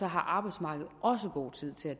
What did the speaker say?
har arbejdsmarkedet også god tid til at